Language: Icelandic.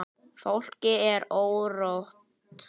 Fólki er órótt.